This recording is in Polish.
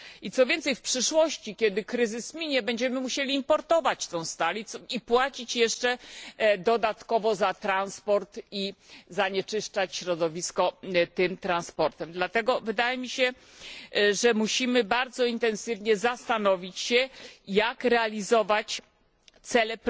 Co więcej, w przyszłości, kiedy kryzys minie, będziemy musieli importować tę stal i płacić dodatkowo za transport i zanieczyszczać środowisko tym transportem. Dlatego wydaje mi się, że musimy bardzo intensywnie zastanowić się, jak realizować cele